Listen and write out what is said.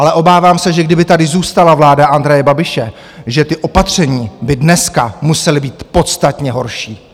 Ale obávám se, že kdyby tady zůstala vláda Andreje Babiše, že ta opatření by dneska musela být podstatně horší.